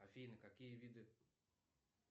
афина какие виды